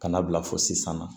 Ka na bila fo sisan na